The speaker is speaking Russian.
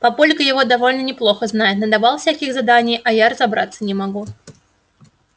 папулька его довольно неплохо знает надавал всяких заданий а я разобраться не могу